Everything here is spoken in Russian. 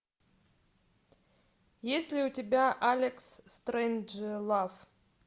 есть ли у тебя алекс стрейнджлав